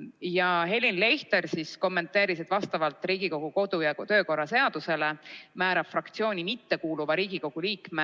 Nõunik Helin Leichter kommenteeris, et vastavalt Riigikogu kodu‑ ja töökorra seadusele määrab fraktsiooni mittekuuluva Riigikogu liikme